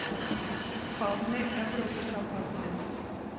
Fáni Evrópusambandsins.